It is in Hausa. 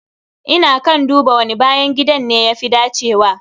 Ina kan duba wani bayan gidan ne ya fi dacewa.